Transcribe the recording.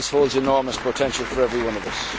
This holds enormous potential for every one of